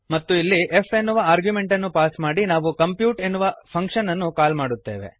ಮತ್ತು ಇಲ್ಲಿ f ಎನ್ನುವ ಆರ್ಗ್ಯುಮೆಂಟ್ ಅನ್ನು ಪಾಸ್ ಮಾಡಿ ನಾವು ಕಂಪ್ಯೂಟ್ ಎನ್ನುವ ಫಂಕ್ಶನ್ ಅನ್ನು ಕಾಲ್ ಮಾಡುತ್ತೇವೆ